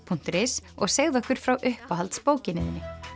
punktur is og segðu okkur frá uppáhalds bókinni þinni